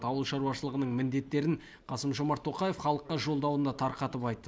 ауыл шаруашылығының міндеттерін қасым жомарт тоқаев халыққа жолдауында тарқатып айтты